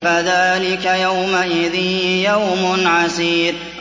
فَذَٰلِكَ يَوْمَئِذٍ يَوْمٌ عَسِيرٌ